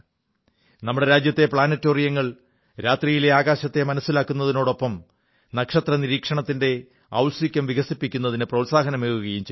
നമ്മുടെ രാജ്യത്തെ പ്ലാനറ്റേറിയങ്ങൾ നക്ഷത്രബംഗ്ലാവുകൾ രാത്രിയിലെ ആകാശത്തെ മനസ്സിലാക്കുന്നതിനൊപ്പം നക്ഷത്രനിരീക്ഷണത്തിന്റെ ഔത്സുക്യം വികസിക്കുന്നതിന് പ്രോത്സാഹനമേകുകയും ചെയ്യുന്നു